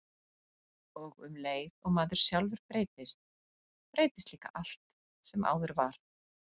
Og um leið og maður sjálfur breytist, breytist líka allt sem áður var.